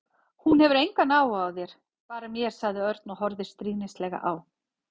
Hún hefur engan áhuga á þér, bara mér sagði Örn og horfði stríðnislega á